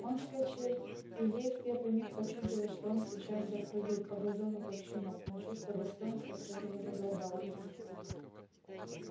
он вскочил и ей в первый миг почудилось что он сейчас запрыгает по газону как щенок но чувство достоинства всё же возобладало в нем